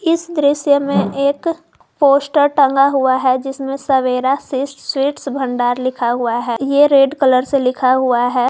इस दृश्य में एक पोस्टर टंगा हुआ है जिसमें सवेरा सिर्फ स्वीट्स भंडार लिखा हुआ है ये रेड कलर से लिखा हुआ है।